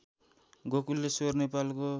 गोकुलेश्वर नेपालको